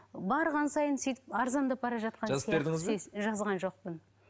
барған сайын сөйтіп арзандап бара жатқан жазған жоқпын